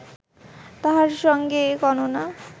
তাহার সঙ্গে এ গণনা